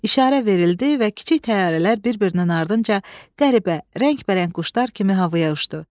İşarə verildi və kiçik təyyarələr bir-birinin ardınca qəribə, rəngbərəng quşlar kimi havaya uçdu.